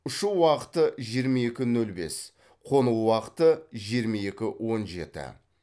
ұшу уақыты жиырма екі нөл бес қону уақыты жиырма екі он жеті